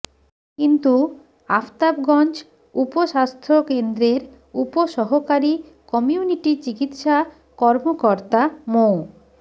কিন্তু আফতাবগঞ্জ উপস্বাস্থ্য কেন্দ্রের উপসহকারী কমিউনিটি চিকিৎসা কর্মকর্তা মো